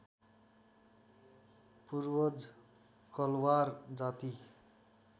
पूर्वज कलवार जाति